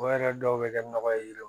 O yɛrɛ dɔw bɛ kɛ nɔgɔ ye